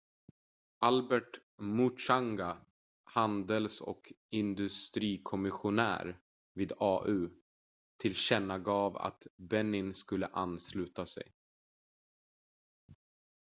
albert muchanga handels- och industrikomissionär vid au tillkännagav att benin skulle ansluta sig